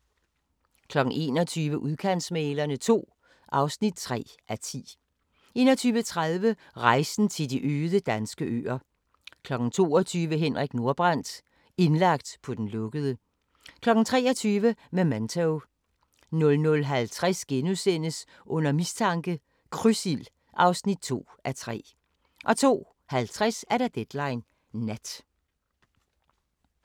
21:00: Udkantsmæglerne II (3:10) 21:30: Rejsen til de øde danske øer 22:00: Henrik Nordbrandt – indlagt på den lukkede 23:00: Memento 00:50: Under mistanke – Krydsild (2:3)* 02:50: Deadline Nat